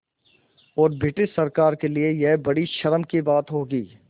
और ब्रिटिश सरकार के लिये यह बड़ी शर्म की बात होगी